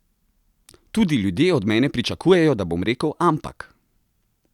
Tudi ljudje od mene pričakujejo, da bom rekel ampak!